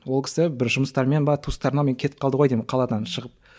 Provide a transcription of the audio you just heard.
ол кісі бір жұмыстармен бе туыстарына кетіп қалды ғой деймін қаладан шығып